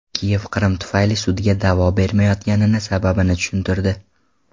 Kiyev Qrim tufayli sudga da’vo bermayotgani sababini tushuntirdi.